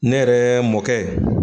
Ne yɛrɛ mɔkɛ